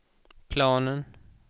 planen